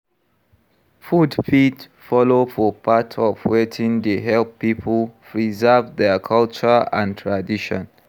Food fit follow for part of wetin dey help pipo preserve their culture and tradition